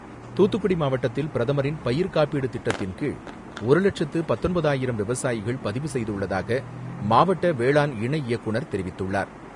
தூத்துக்குடி மாவட்டத்தில் பிரதமரின் பயிர்க்காப்பீடு திட்டத்தின்கீழ், ஒரு லட்சத்து பத்தொன்பதாயிரம் விவசாயிகள் பதிவு செய்துள்ளதாக, மாவட்ட வேளாண் இணை இயக்குநர் தெரிவித்துள்ளார்.